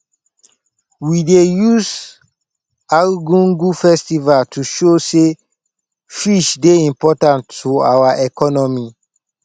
we dey use argungu festival to show sey fish dey important to our economy